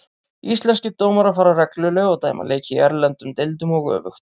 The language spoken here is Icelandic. Íslenskir dómarar fara reglulega og dæma leiki í erlendum deildum og öfugt.